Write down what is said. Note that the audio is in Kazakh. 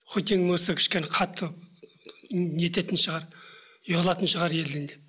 хоть ең болмаса кішкене қайтты не ететін шығар ұялатын шығар елден деп